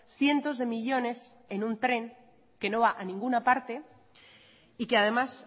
cientos de millónes en un tren que no va a ninguna parte y que además